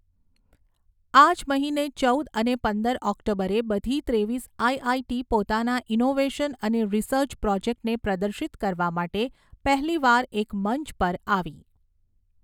આ જ મહિને ચૌદ અને પંદર ઑક્ટોબરે બધી ત્રેવીસ આઈઆઈટી પોતાના ઇનૉવેશન અને રીસર્ચ પ્રૉજેક્ટને પ્રદર્શિત કરવા માટે પહેલી વાર એક મંચ પર આવી.